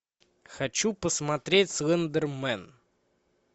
хочу посмотреть слендермен